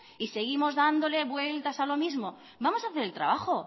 y seguimos dándole vueltas a lo mismo vamos a hacer el trabajo